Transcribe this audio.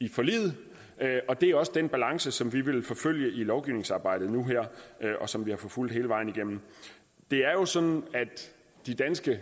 i forliget og det er også den balance som vi vil forfølge i lovgivningsarbejdet nu her og som vi har forfulgt hele vejen igennem det er jo sådan at de danske